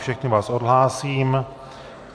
Všechny vás odhlásím.